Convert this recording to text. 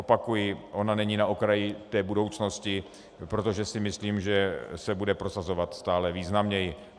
Opakuji, ona není na okraji té budoucnosti, protože si myslím, že se bude prosazovat stále významněji.